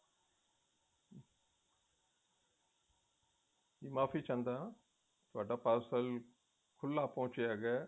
ਮਾਫ਼ੀ ਚਾਹੁੰਦਾ ਹੈਗਾ ਥੋਡਾ parcel ਖੁੱਲਾ ਪਹੁੰਚਿਆ ਹੈਗਾ